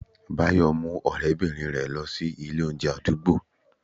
bayo mu orebirin rẹ losí Ilé oúnje adugbo